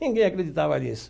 Ninguém acreditava nisso.